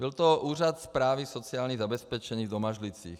Byl to Úřad správy sociálního zabezpečení v Domažlicích.